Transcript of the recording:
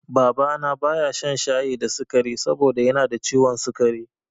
Baba na baya shan shayi da sikari saboda yanada ciwon sikari